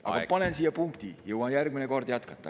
Panen siia punkti, jõuan järgmine kord jätkata.